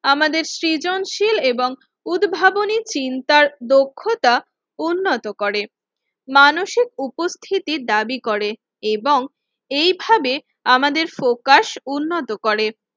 আমাদের সৃজনশীল এবং উদ্ভাবনী চিন্তার দক্ষতা উন্নত করে, মানসিক উপস্থিতি দাবি করে এবং এইভাবে আমাদের ফোকাস উন্নত করে।